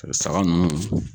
saga ninnu